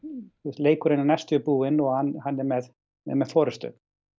leikurinn er næstum því búinn og hann er með með með forystu